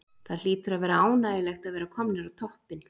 Það hlýtur að vera ánægjulegt að vera komnir á toppinn?